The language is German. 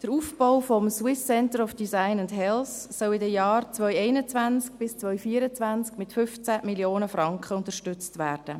Der Aufbau des Swiss Center for Design and Health (SCDH) soll in den Jahren 2021–2024 mit 15 Mio. Franken unterstützt werden.